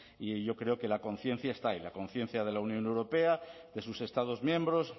y yo creo que la conciencia está ahí la conciencia de la unión europea de sus estados miembros